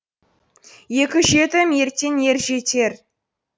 екі жетім ертең ер жетер